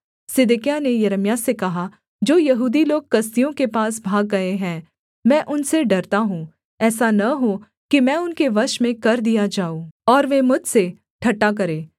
सिदकिय्याह ने यिर्मयाह से कहा जो यहूदी लोग कसदियों के पास भाग गए हैं मैं उनसे डरता हूँ ऐसा न हो कि मैं उनके वश में कर दिया जाऊँ और वे मुझसे ठट्ठा करें